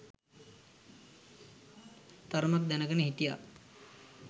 තරමක් දැනගෙන හිටියා